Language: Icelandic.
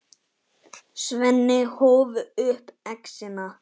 Svenni hóf upp exina.